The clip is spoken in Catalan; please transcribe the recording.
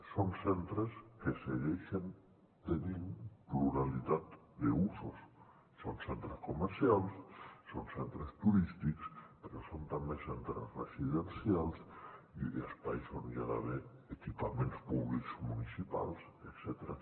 són centres que segueixen tenint pluralitat d’usos són centres comercials són centres turístics però són també centres residencials i espais on hi ha d’haver equipaments públics municipals etcètera